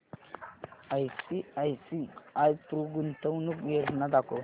ICICI Pru गुंतवणूक योजना दाखव